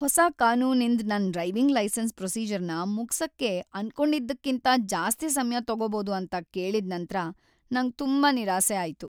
ಹೊಸ ಕಾನೂನಿಂದ್ ನನ್ ಡ್ರೈವಿಂಗ್ ಲೈಸೆನ್ಸ್ ಪ್ರೊಸೀಜರ್ನ ಮುಗ್ಸಕ್ಕೆ ಅನ್ಕೊಂಡಿದ್ದಕಿಂತ್ ಜಾಸ್ತಿ ಸಮ್ಯ ತಗೋಬೋದು ಅಂತ ಕೇಳಿದ್ ನಂತ್ರ ನಂಗ್ ತುಂಬಾ ನಿರಾಸೆ ಆಯ್ತು.